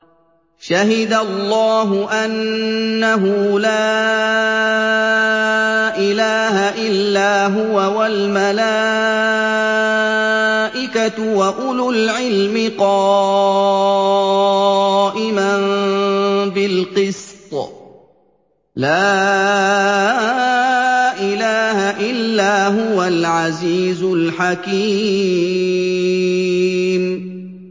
شَهِدَ اللَّهُ أَنَّهُ لَا إِلَٰهَ إِلَّا هُوَ وَالْمَلَائِكَةُ وَأُولُو الْعِلْمِ قَائِمًا بِالْقِسْطِ ۚ لَا إِلَٰهَ إِلَّا هُوَ الْعَزِيزُ الْحَكِيمُ